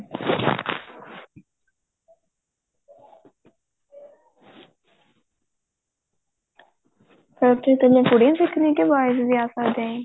ਫੇਰ ਉੱਥੇ ਇੱਕਲੀ ਕੁੜੀਆਂ ਸਿੱਖਦੀਆਂ ਕੇ boys ਵੀ ਆ ਸਕਦੇ ਏ ਜੀ